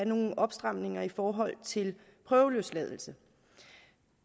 nogle opstramninger i forhold til prøveløsladelse